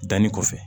Danni kɔfɛ